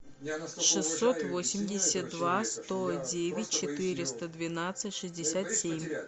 шестьсот восемьдесят два сто девять четыреста двенадцать шестьдесят семь